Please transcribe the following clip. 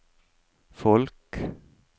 folk